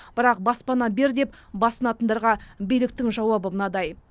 бірақ баспана бер деп басынатындарға биліктің жауабы мынадай